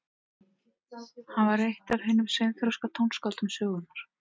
hann var eitt af hinum seinþroska tónskáldum sögunnar